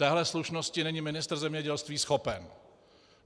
Této slušnosti není ministr zemědělství schopen.